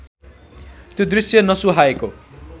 त्यो दृश्य नसुहाएको